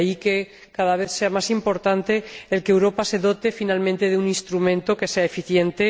De ahí que cada vez sea más importante que Europa se dote, finalmente, de un instrumento que sea eficiente.